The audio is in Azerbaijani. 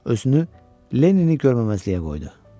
Özünü Lennini görməməzliyə qoydu.